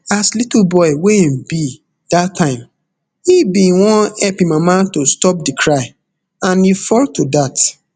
as little boy wey im be dat time e bin wan help im mama to stop di cry and e fall to dat